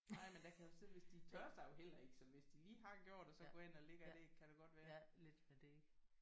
Nej men der kan jo sidde hvis de de tørrer sig jo heller ikke så hvis de lige har gjort og så går ind og lægger et æg kan der godt være